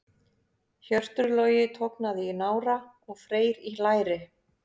Hjörtur Logi tognaði í nára og Freyr í læri.